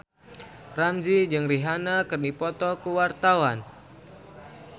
Ramzy jeung Rihanna keur dipoto ku wartawan